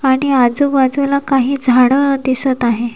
आणि आजुबाजूला काही झाडं दिसत आहे.